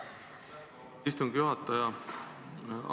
Aitäh, istungi juhataja!